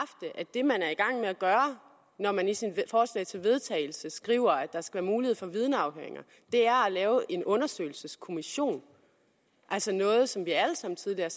det man er i gang med at gøre når man i sit forslag til vedtagelse skriver at der skal være mulighed for vidneafhøringer er at lave en undersøgelseskommission altså noget som vi alle sammen tidligere